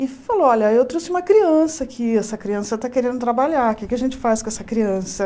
E falou, olha, eu trouxe uma criança aqui, essa criança está querendo trabalhar, o que é que a gente faz com essa criança?